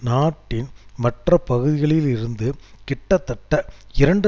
நாட்டின் மற்ற பகுதிகளில் இருந்து கிட்டத்தட்ட இரண்டு